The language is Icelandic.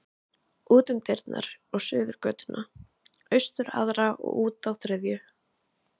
Út um dyrnar og suður götuna, austur aðra og út þá þriðju.